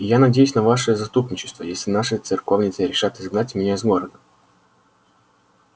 и я надеюсь на ваше заступничество если наши церковницы решат изгнать меня из города